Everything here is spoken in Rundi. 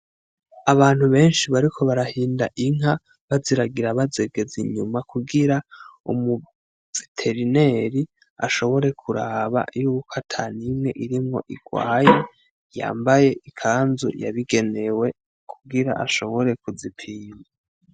Abantu benshi bariko barahinda inka, baziragira bazegez'inyuma kugira umu veterineri ashobore kuraba yuk' atanimwe irimwo irwaye, yambaye ikanzu yabigenewe kugira ashobore kuzipima.